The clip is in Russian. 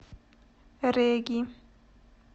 реги